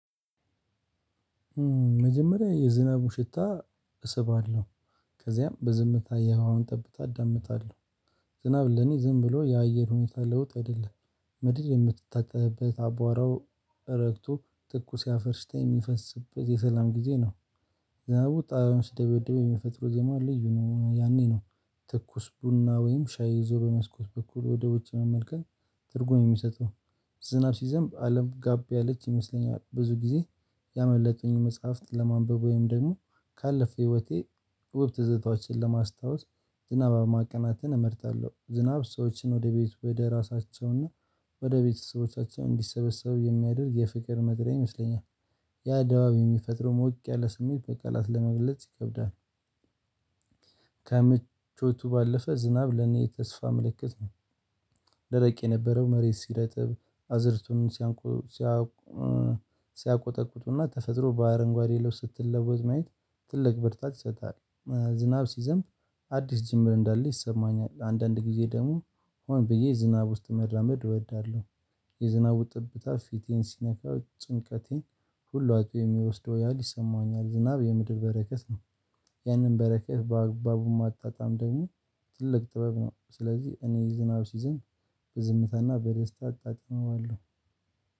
መጀመሪያ የዝናቡ ሽታ እሰባለሁ ከዚያም በዝምታ የውሃውን ጠብታ እዳምጣለሁ። ዝናብ ለኔ ዝም ብሎ የአየር ሁኔታ ለውጥ አይደለም ምድር የምትታጠብበት አቧራው እረግቶ ትኩስ ያፈርሽታ የሚፈስበት የሰላም ጊዜ ነው። ዘናቡ ጣሪያውን ሲደብደብ የሚፈጥረው ዜማ ልዩ ነው ያኔ ነው ትኩስ ቡና ወይም ሻይ ይዞ በመስኮት በኩል ወደ ውጭ መመልከት። ትርጉም የሚሰጠው ዝናብ ሲዘንብ አለም ጋቢ ያለች ይመስለኛል ብዙ ጊዜ ያመለጠኝን መጽሐፍት ለማንበብ ወይም ደግሞ ካለፈ ህይወቴ ውብ ትዝታዎችን ለማስታወስ ዝናባማ ቀናናትን እመርጣለሁ። ዝናብ ሰዎችን ወደ ቤት ወደ ራሳቸውና ወደ ቤተሰቦቻቸው እንዲሰበሰቡ የሚያደርግ የፍቅር መጥሪያ ይመስለኛል። ያ ድባብ የሚፈጥረው ሞቅ ያለ ስሜት በቃላት ለመግለጽ ይከብዳል። ከምቾቱ ባለፈ ዝናብ ለኔ የተስፋ ምልክት ነው። ደረቅ የነበረው መሬት ሲረጥብ አዝርቱን ሲያቆጠቁጡና ተፈጥሮ ባአረንጓዴ ልብስ ስትለወጥ ማየት ትልቅ ብርታት ይሰጣል። ዝናብ ሲዘንብ አዲስ ጅምር እንዳለ ይሰማኛል አንዳንድ ጊዜ ደግሞ ሆን ብዬ ዝናብ ውስጥ መራመድ እወዳለሁ። የዝናቡ ጠብታ ፊቴን ሲነካው ጭንቀቴን ሁሉ አጥቦ የሚወስደው ያህል ይሰማኛል ዝናብ የምድር በረከት ነው። ያንን በረከት በአግባቡ ማጣጣም ደግሞ ትልቅ ጥበብ ነው። ስለዚህ እኔ ዝናብ ሲዘንብ በዝምታና በደስታ አጣጥመዋለሁ።